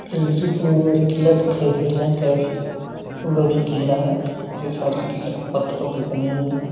इस दृश्य में हमें एक किला दिखाई दे रहा है बड़ी कीला है यह सारी किला पत्थरों के बने हुए --